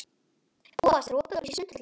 Bóas, er opið í Sundhöllinni?